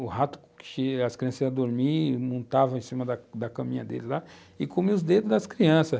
O rato que as crianças iam dormir, montava em cima da da caminha deles lá e comiam os dedos das crianças.